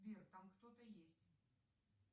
сбер там кто то есть